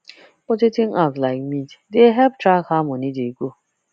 budgeting apps like mint dey help track how money dey go